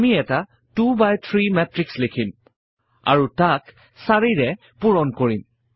আমি এটা 2 by 3 matrix লিখিম আৰু তাক 4 ৰে পূৰণ কৰিম